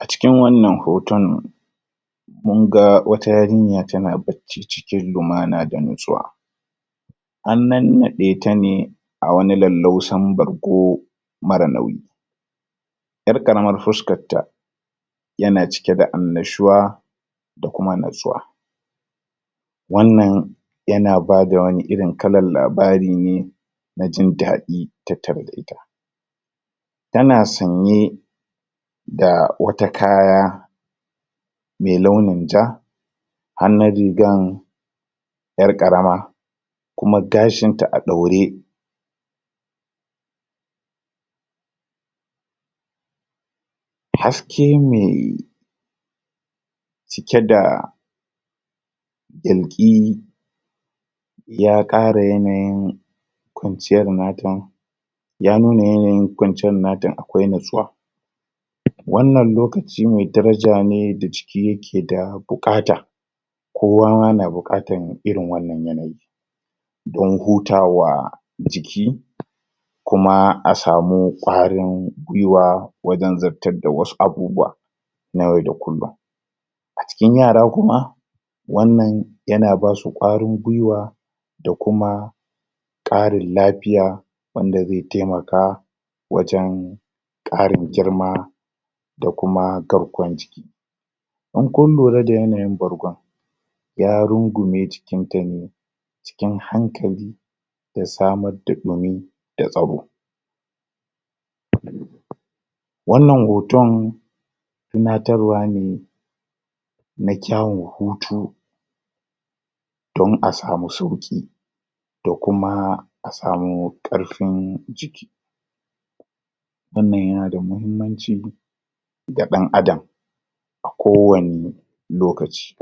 a cikin wannan hoton munga wata yarinya tana bacci cikin lumana da natsuwa an nannade ta ne a wani laulaussan bargo mara nauyi yar karamar fuskanta yana cike da annashuwa da kuma natsuwa wannan yana bada wani irin kalan labarine na jin dadi tattare da ita tana sanye da wata kaya me launin ja hannun rigan yar karama kuma gashin ta a daure haske me cike da yalki ya kara yanayin kwanciyar nata ya nuna yanayin kwanciyar nata akwai natsuwa wannan lokaci me darajana da jiki yake bukata kowa ma na bukatar irin wannan yanayin don hutawa jiki kuma a samun kwarin gwuiwa wajen zartar da wasu abubuwa na yau da kullum a cikin yara kuma wannan yana basu kwarin gwuiwa da kuma karin lafiya wand azai taimaka wajen karin girma da kuma garkuwan jiki in kun lura da yanayin bargon ya rungume jikin ta ne cikin hankali da samar da dumi da tsaro?? wannan hoton tunatarwa ne na kyawun hutu don a samu sauki da kuma a samu karfin jiki wannan yana da mahimmanci ga dan adam a kowani lokaci??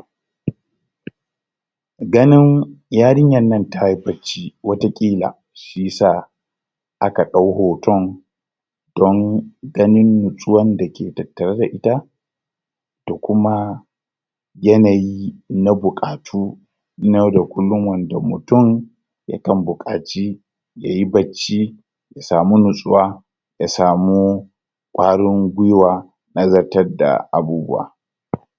ganin yarinyan nan tayi bacci wata kila shiyasa aka dau hoton don ganin natsuwan da ke tattare da ita da kuma yanayi na bukatu na yau da kullum wanda mutum ya kan bukaci yayi bacci ya samu natsuwa ya samu kwarin gwuiwa na zartar da abubuwa?